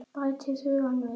Bætið hunangi við.